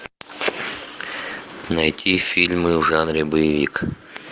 найти фильмы в жанре боевик